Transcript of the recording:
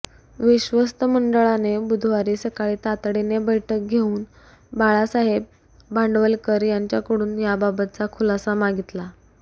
विश्वस्त मंडळाने बुधवारी सकाळी तातडीने बैठक घेऊन बाळासाहेब भांडवलकर यांच्याकडून याबाबतचा खुलासा मागितला